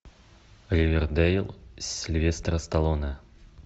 ривердейл сильвестра сталлоне